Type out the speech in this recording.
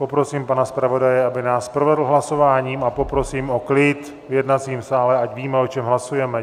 Poprosím pana zpravodaje, aby nás provedl hlasováním, a poprosím o klid v jednacím sále, ať víme, o čem hlasujeme.